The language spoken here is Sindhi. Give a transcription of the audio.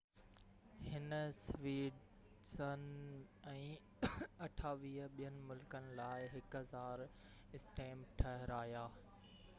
هن سويڊن ۽ 28 ٻين ملڪن لاءِ 1،000 اسٽيمپ ٺاهرايا